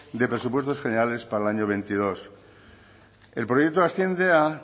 de presupuestos generales para el año veintidós el proyecto asciende a